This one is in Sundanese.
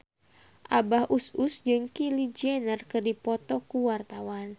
Abah Us Us jeung Kylie Jenner keur dipoto ku wartawan